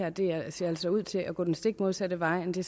at det her altså ser ud til at gå den stik modsatte vej af det